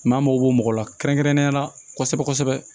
an mago b'o mɔgɔ la kɛrɛnkɛrɛnnenya la kosɛbɛ kosɛbɛ